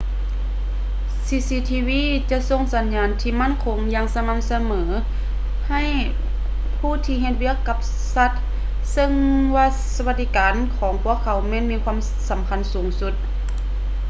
cctv ຈະສົ່ງສັນຍານທີ່ໝັ້ນຄົງຢ່າງສະໝ່ຳສະເໝີໃຫ້ຜູ້ທີ່ເຮັດວຽກກັບສັດ ເຊິ່ງວ່າສະຫວັດດີການຂອງພວກເຂົາແມ່ນມີຄວາມສຳຄັນສູງສຸດ